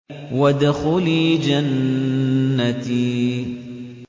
وَادْخُلِي جَنَّتِي